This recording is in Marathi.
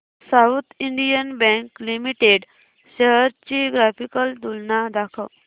south Indian Bank Limited shares ची ग्राफिकल तुलना दाखव